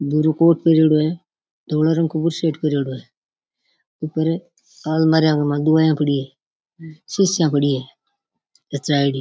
भूरो कोट पेहरोडो है धोडो रंग का बुस्सट पेहरोडो है ऊपर अलमारीया में दवाइयां पड़ी है शीशियाँ पड़ी है --